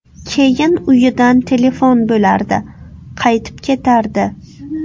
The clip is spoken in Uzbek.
Keyin uyidan telefon bo‘lardi, qaytib ketardi.